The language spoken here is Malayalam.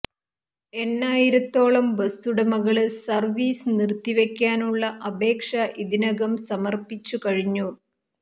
എണ്ണായിരത്തോളം ബസ്സുടമകള് സര്വ്വീസ് നിര്ത്തിവക്കാനുള്ള അപേക്ഷ ഇതിനകം സമര്പിച്ചു കഴിഞ്ഞു